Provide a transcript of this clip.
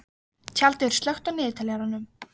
Tjaldur, slökktu á niðurteljaranum.